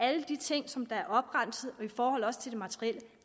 alle de ting som er opremset og i forhold til det materielle